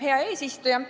Hea eesistuja!